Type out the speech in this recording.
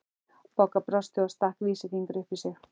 Bogga brosti og stakk vísifingri upp í sig.